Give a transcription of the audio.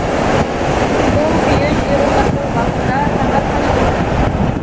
сол күйі жер ошақтың басында таң атқанша отырды